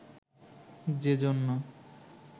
যে জন্য